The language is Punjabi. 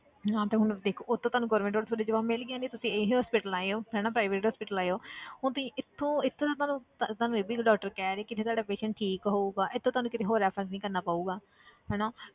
ਹਾਂ ਤੇ ਹੁਣ ਦੇਖੋ ਉੱਥੋਂ ਤੁਹਾਨੂੰ government hospital ਤੋਂ ਜਵਾਬ ਮਿਲ ਗਿਆ ਤੇ ਤੁਸੀਂ ਇਹ hospital ਆਏ ਹੋ ਹਨਾ private hospital ਆਏ ਹੋ ਹੁਣ ਤੁਸੀਂ ਇੱਥੋਂ ਇੱਥੋਂ ਤਾਂ ਤੁਹਾਨੂੰ ਤੁਹਾਨੂੰ ਇਹ ਵੀ doctor ਕਹਿ ਰਹੇ ਕਿ ਇੱਥੇ ਤੁਹਾਡਾ patient ਠੀਕ ਹੋਊਗਾ ਇੱਥੋਂ ਤੁਹਾਨੂੰ ਕਿਤੇ ਹੋਰ reference ਨੀ ਕਰਨਾ ਪਊਗਾ ਹਨਾ,